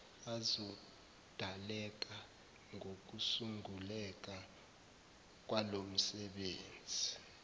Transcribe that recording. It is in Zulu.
azodaleka ngokusunguleka kwalomsebenzi